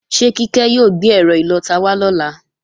Ṣé Kíkẹ́ ó gbé ẹ́rọ ìlọta wá lọ́la?